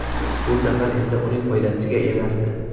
Bu safar endi uning foydasiga emasdi.